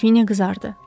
Qrafinya qızardı.